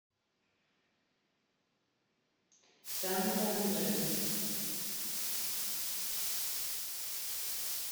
санту андре